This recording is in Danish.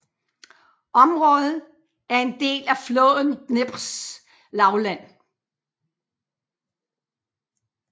Området er en del af floden Dneprs lavland